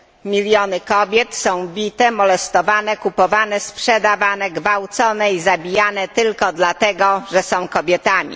Miliony kobiet są bite, molestowane, kupowane, sprzedawane, gwałcone i zabijane tylko dlatego, że są kobietami.